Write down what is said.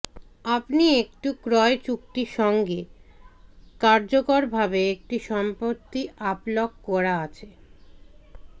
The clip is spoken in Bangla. আপনি একটি ক্রয় চুক্তি সঙ্গে কার্যকরভাবে একটি সম্পত্তি আপ লক করা আছে